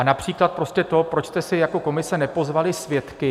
A například prostě to, proč jste si jako komise nepozvali svědky -